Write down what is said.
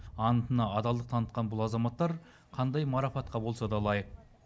антына адалдық танытқан бұл азаматтар қандай марапатқа болса да лайық